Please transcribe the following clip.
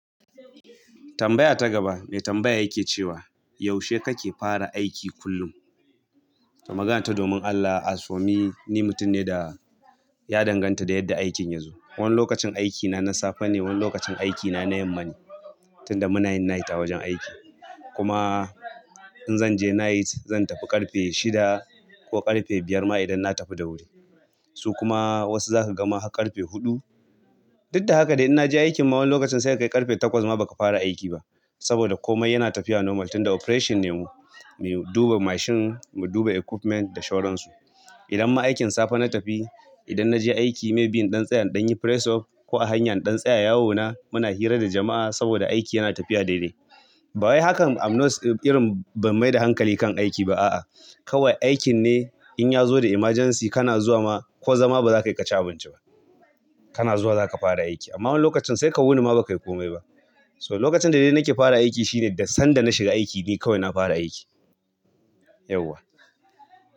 Tambaya ta gaba mai tambaya yake cewa, "yaushe kake fara aiki kullum?" Maganata, "domin Allah, asomi, ni mutum ne da ya danganta da yadda aikin yazo. Wani lokacin aikina na safe ne, wani lokacin aikina na yamma ne. Tunda muna yin night a wajen aiki. Kuma in zanje night, zan tafi ƙarfe shida ko ƙarfe biyer ma idan na tafi da wuri. Su kuma wasu zaka gama har ƙarfe huɗu. Duk da haka dai in naje aikin ma wani lokacin sai ka kai ƙarfe takwas ma baka fara aiki ba. Saboda komai yana tafiya normal, tunda operation ne mu. Mu duba mashin, mu duba equipment da shoransu. Idan ma aikin safe na tafi, idan naje aiki msy be in ɗan tsaya don yin press off ko a hanyar ɗan tsaye yawo na, muna hira da jama'a saboda aiki yana tafiya daidai. Ba wai hakan amnos irin ban mai da hankali kan aiki ba a'a. Kawai aikin ne in ya zo da emergency kana zuwa ma ko zama ba za ka yi ƙaci abinci ba. Kana zuwa zaka fara aiki. Amma wani lokacin sai ka wuni ma baka yi komai ba. So lokacin da dai nake fara aiki shine da sanda na shiga aiki ne kawai na fara aiki. Yauwa."